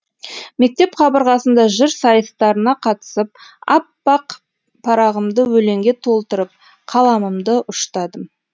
мектеп қабырғасында жыр сайыстарына қатысып аппақ парағымды өлеңге толтырып қаламымды ұштадым